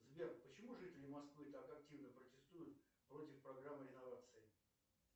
сбер почему жители москвы так активно протестуют против программы реновации